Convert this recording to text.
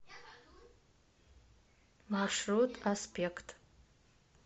маршрут аспект